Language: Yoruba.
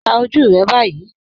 Pà ojú rẹ báyì